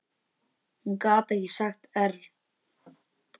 Hún gat ekki sagt err.